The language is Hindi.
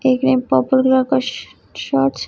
एक ने पर्पल कलर का शॉर्ट्स --